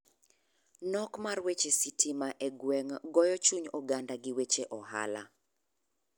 Nok mar weche sitima e gweng' goyo chuny oganda gi weche ohala.